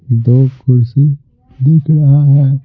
दो कुर्सी दिख रहा है।